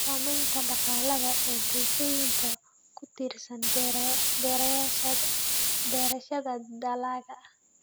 Saamaynta dhaqaale ee bulshooyinka ku tiirsan beerashada dalagga.